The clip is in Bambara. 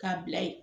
K'a bila ye